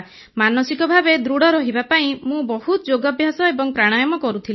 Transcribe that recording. ମାନସିକ ଭାବେ ଦୃଢ଼ ରହିବା ପାଇଁ ମୁଁ ବହୁତ ଯୋଗାଭ୍ୟାସ ଏବଂ ପ୍ରାଣାୟାମ କରୁଥିଲି